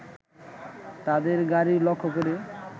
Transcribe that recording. তাদের গাড়ি লক্ষ্য করে